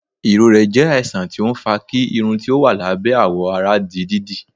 ìrorẹ jẹ àìsàn tí ọ ń fà kí Irún tí ó wà lábẹ́ àwọ àrà dí dídí